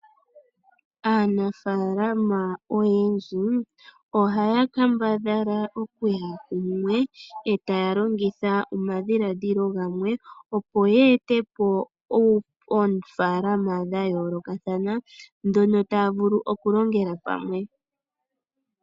Aanafalama oyendji ohaya kambadhala okuya kumwe etaya longitha omadhiladhilo gamwe, opo ye ete po oofaalama dhayoolokathana mpono taya vulu okulongela pamwe.